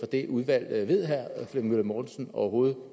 det udvalg ved herre flemming møller mortensen overhovedet